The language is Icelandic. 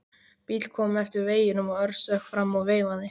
Bíll kom eftir veginum og Örn stökk fram og veifaði.